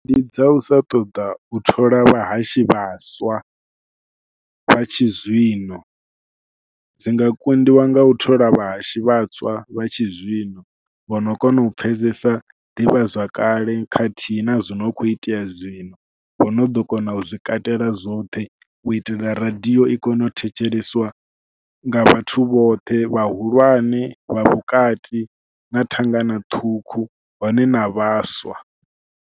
Ndi dza u sa ṱoḓa u thola vhahashi vhaswa vha tshi zwino, dzi nga kundiwa nga u thola vhahashi vhaswa vha tshizwino vha no kona u pfhesesa ḓivhazwakale khathihi na zwo no khou itea zwino. Vho no ḓo kona u zwi katela zwoṱhe, u itela radiyo i kone u thetsheleswa nga vhathu vhoṱhe, vhahulwane vha vhukati na thangana ṱhukhu hone na vhaswa.